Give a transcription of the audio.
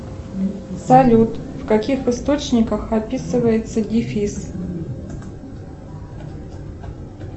салют в каких источниках описывается дефис